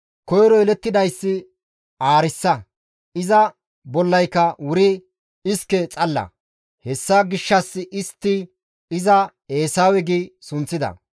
Koyro yelettidayssi aarissa; iza bollayka wuri iske xalla; hessa gishshas istti iza Eesawe gi sunththida.